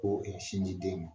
Ko sin di den ma.